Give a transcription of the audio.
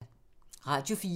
Radio 4